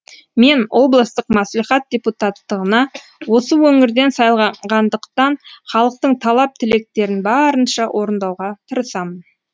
мен облыстық мәслихат депутаттығына осы өңірден сайланғандықтан халықтың талап тілектерін барынша орындауға тырысамын